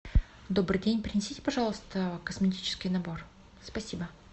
добрый день принесите пожалуйста косметический набор спасибо